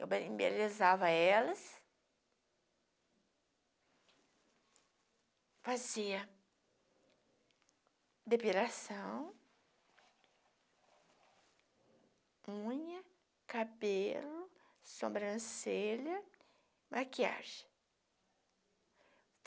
Eu be embelezava elas, fazia depilação, unha, cabelo, sobrancelha, maquiagem.